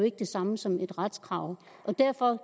ikke det samme som et retskrav og derfor